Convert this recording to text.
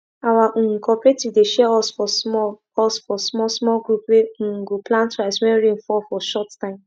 our um cooperative dey share us for small us for small small group wey um go plant rice when rain fall for short time